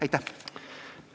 Aitäh!